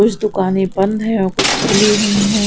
कुछ दुकानें बंद है और कुछ खुली हुई हैं।